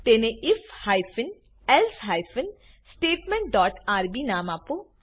તેને IF hyphen else hyphen statement dot RB નામ આપો